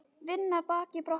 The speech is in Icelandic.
Vinna baki brotnu.